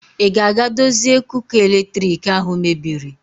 Ị ga-aga dozie kuka eletriki ahụ mebiri?